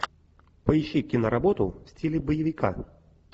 поищи киноработу в стиле боевика